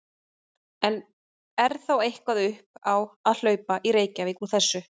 En er þá eitthvað upp á að hlaupa í Reykjavík úr þessu?